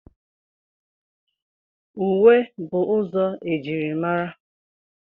Uwe bụ ụzọ e jiri mara.